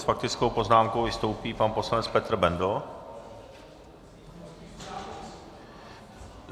S faktickou poznámkou vystoupí pan poslanec Petr Bendl.